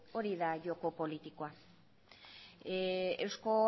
hori da joko politikoa eusko